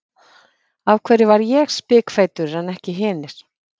Af hverju var ég spikfeitur en ekki hinir?